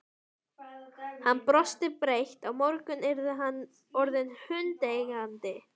Hann brosti breitt: Á morgun yrði hann orðinn hundeigandi!